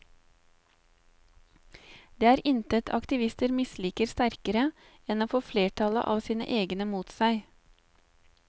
Det er intet aktivister misliker sterkere enn å få flertallet av sine egne mot seg.